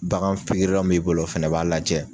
Bagan pigirila min b'i bolo o fɛnɛ b'a lajɛ